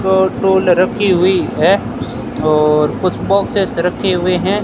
दो टूल रखी हुई है और कुछ बॉक्सेस रखे हुए हैं।